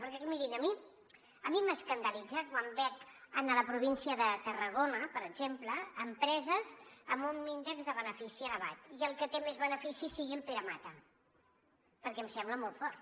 perquè mirin a mi m’escandalitza quan veig a la província de tarragona per exemple empreses amb un índex de benefici elevat i el que té més beneficis sigui el pere mata perquè em sembla molt fort